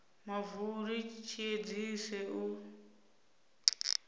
mavu uri tshi edzise u